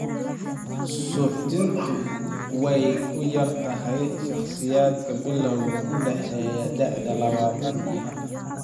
Suuxdintu way ku yar tahay shakhsiyaadka bilawga u dhexeeya da'da labatan iyo afartan.